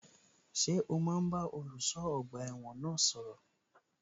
Ṣé o máa bá olùṣọ́ ọgbà ẹ̀wọ̀n náà sọ̀rọ̀?